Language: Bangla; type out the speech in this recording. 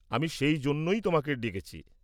আমি সেই জন্যই তোমায় ডেকেছি।